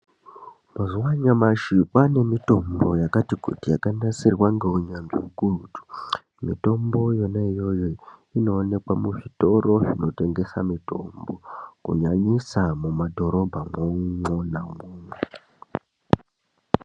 Mazuva anyamashi kwane mitombo yakati kuti yakanasirwa ngeunyanzvi hukurutu. Mitombo yona iyoyo inoonekwa muzvitoro zvinotengesa mitombo, kunyanyisa mumadhorobha mwona mwomwo.